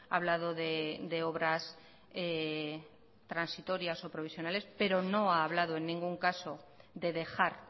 hablado de obras transitorias o provisionales pero no ha hablado en ningún caso de dejar